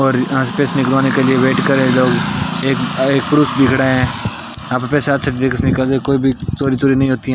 और यहां स्पेस निकलवाने के लिए वेट करें लोग एक अ एक पुरुष खड़ा है आपके साथ -- चोरी चोरी नही होती है।